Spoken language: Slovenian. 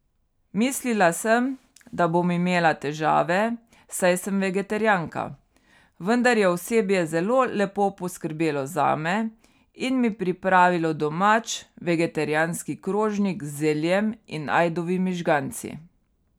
Mislila sem, da bom imela težave, saj sem vegetarijanka, vendar je osebje zelo lepo poskrbelo zame in mi pripravilo domač vegetarijanski krožnik z zeljem in ajdovimi žganci.